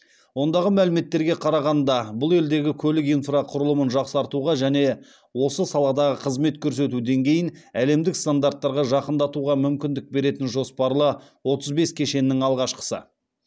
ондағы мәліметтерге қарағанда бұл елдегі көлік инфрақұрылымын жақсартуға және осы саладағы қызмет көрсету деңгейін әлемдік стандарттарға жақындатуға мүмкіндік беретін жоспарлы отыз бес кешеннің алғашқысы